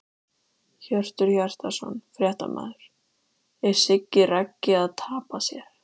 Hjörtur Hjartarson, fréttamaður: Er Siggi Raggi að tapa sér?!